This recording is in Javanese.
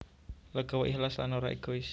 Legawa ikhlas lan ora égois